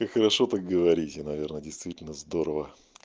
и хорошо так говорите и наверное действительно здорово